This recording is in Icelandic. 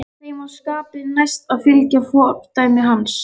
Þeim var skapi næst að fylgja fordæmi hans.